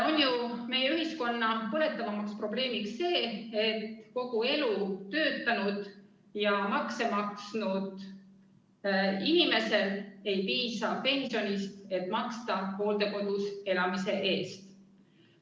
On ju meie ühiskonna üks kõige põletavaimaid probleeme see: kogu elu töötanud ja makse maksnud inimesel ei piisa pensionist, et maksta hooldekodus elamise eest.